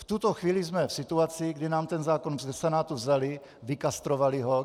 V tuto chvíli jsme v situaci, kdy nám ten zákon ze Senátu vzali, vykastrovali ho.